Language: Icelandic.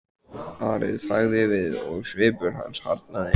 Ari þagði við og svipur hans harðnaði.